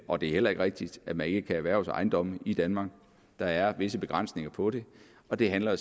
og det er heller ikke rigtigt at man ikke kan erhverve sig ejendomme i danmark der er visse begrænsninger på det og det handler jo